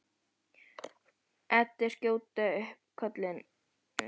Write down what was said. Eddu skjóta upp kollinum, henni til óblandinnar ánægju.